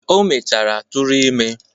O mechara tụrụ ime.